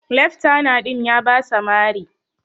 Leftana din ya basa Mari.